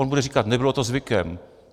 On bude říkat: Nebylo to zvykem.